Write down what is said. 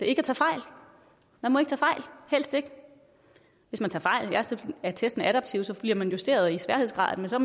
ikke tage fejl helst ikke hvis man tager fejl så er testen jo adaptiv og så bliver man justeret i sværhedsgrad men så